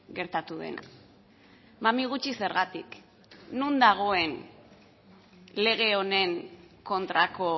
gertatu dena mami gutxi zergatik non dagoen lege honen kontrako